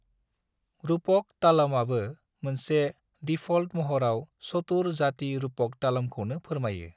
रूपक तालमआबो मोनसे डिफ़ॉल्ट महराव चतुर-जाति रूपक तालमखौनो फोरमायो।